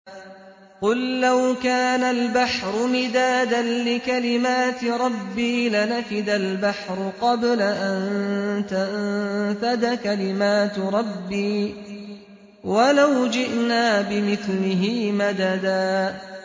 قُل لَّوْ كَانَ الْبَحْرُ مِدَادًا لِّكَلِمَاتِ رَبِّي لَنَفِدَ الْبَحْرُ قَبْلَ أَن تَنفَدَ كَلِمَاتُ رَبِّي وَلَوْ جِئْنَا بِمِثْلِهِ مَدَدًا